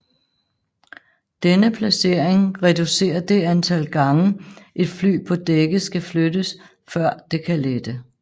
Denne placering reducerer det antal gange et fly på dækket skal flyttes før det kan lette